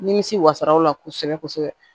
Nimisi wasaraw la kosɛbɛ kosɛbɛ